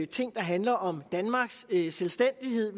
ting der handler om danmarks selvstændighed